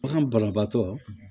Bagan banabaatɔ